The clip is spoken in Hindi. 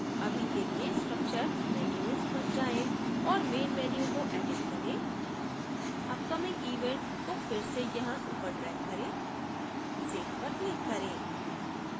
अभी के लिए structure menus पर जाएँ और main menu को edit करें upcoming event को फिर से यहाँ ऊपर ड्रेग करें save पर क्लिक करें